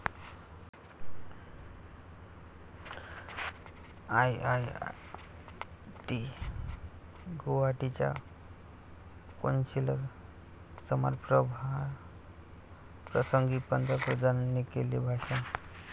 I I I T गुवाहाटीच्या कोनशिला समारंभाप्रसंगी पंतप्रधानांनी केलेले भाषण